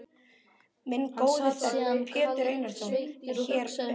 Minn góði þegn, Pétur Einarsson, er hér um þessar mundir.